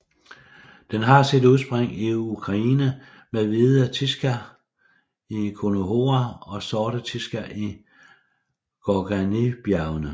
Den har sit udspring i Ukraine med Hvide Tisza i Khornohora og Sorte Tisza i Gorganijbjergene